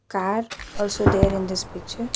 Car also there in this picture.